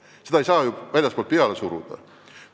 Niisuguseid asju ei saa väljastpoolt peale suruda.